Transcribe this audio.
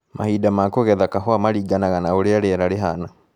Mahinda ma kũgetha kahũa maringanaga na ũrĩa rĩera rĩhana.